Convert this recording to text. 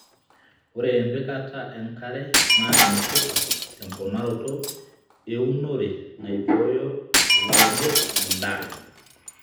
ore empikata enkare naa enetipat te mponaroto eeunore naibooyo rlaunoto edaa